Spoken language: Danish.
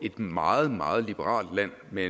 et meget meget liberalt land med